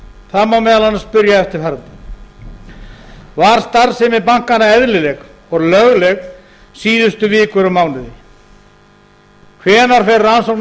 það má meðal annars spyrja eftirfarandi var starfsemi bankanna eðlileg og lögleg síðustu vikur og mánuði hvenær fer rannsókn af